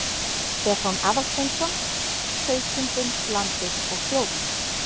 Stefán Aðalsteinsson: Sauðkindin, landið og þjóðin.